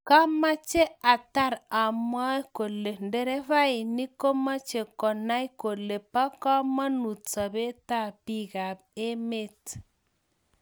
kameche ataar amwae kole nderefainik komeche konai kole bo kamanuut sobet tab bikap emet